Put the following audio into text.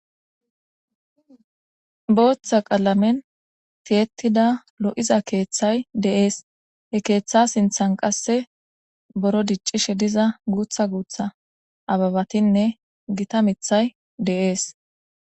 booththa qalamen tiyetida lo7iza keeththay deees he keeththa sinthan qasse boro diccishe diza guutha guutha ababatinne gita mithay de7ees